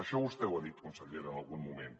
això vostè ho ha dit consellera en algun moment